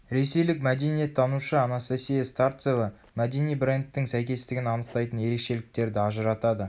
ресейлік мәдениеттанушы анастасия старцева мәдени брендтің сәйкестігін анықтайтын ерекшеліктерді ажыратады